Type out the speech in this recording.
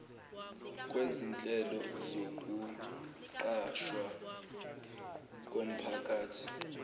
kwezinhlelo zokuqashwa komphakathi